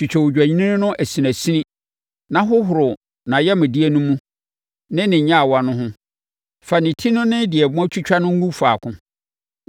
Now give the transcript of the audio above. Twitwa odwennini no asinasini na hohoro nʼayamdeɛ no mu ne ne nnyawa no ho; fa ne ti no ne deɛ moatwitwa no gu faako